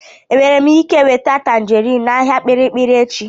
Enwere m ike nweta tanjerin n'ahịa kpirikpiri echi?